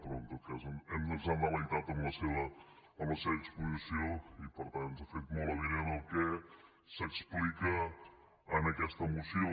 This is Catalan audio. però en tot cas ens ha delectat amb la seva exposició i per tant ens ha fet molt avinent el que s’explica en aquesta moció